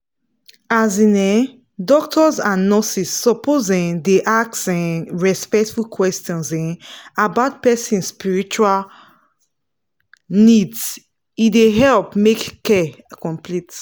as in[um]doctors and nurses suppose um dey ask um respectful questions um about person spiritual needse dey help make care complete.